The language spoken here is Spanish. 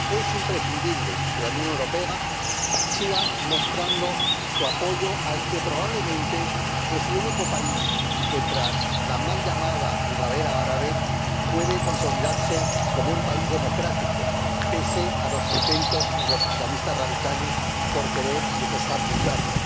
Es imprescindible que la Unión Europea siga mostrando su apoyo al que probablemente es el único país que, tras la mal llamada primavera árabe, puede consolidarse como un país democrático pese a los intentos de los islamistas radicales por querer desestabilizarlo.